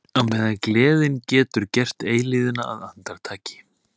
Á meðan gleðin getur gert eilífðina að andartaki.